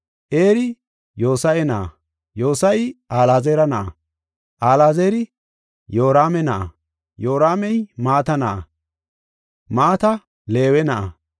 Eri Yoose7a na7a, Yoose7i Alaazara na7a, Alaazari Yoraame na7a, Yoraamey Mata na7a, Mata Leewe na7a,